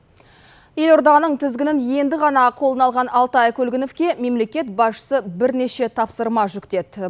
елорданың тізгінін енді ғана қолына алған алтай көлгіновке мемлекет басшысы бірнеше тапсырма жүктеді